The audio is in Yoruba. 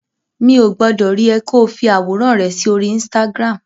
Mi ò gbọdọ̀ rí ẹ ko fi àwòrán rẹ sí orí Instagram.